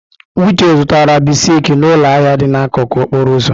Uche zụtara bisiki n'ụlọ ahịa dị n'akụkụ okporo ụzọ.